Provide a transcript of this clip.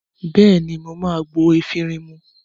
Bẹ́ẹ̀ ní, mà á gbo efirin mu.